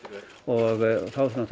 og þá